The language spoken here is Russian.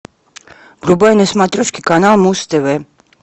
врубай на смотрешке канал муз тв